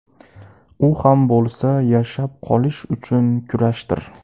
U ham bo‘lsa yashab qolish uchun kurashdir.